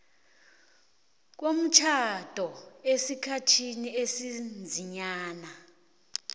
komtjhado esikhathini esiziinyanga